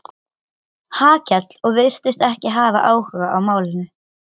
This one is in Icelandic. Hallkell og virtist ekki hafa áhuga á málinu.